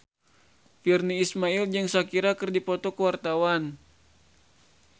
Virnie Ismail jeung Shakira keur dipoto ku wartawan